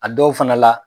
A dɔw fana la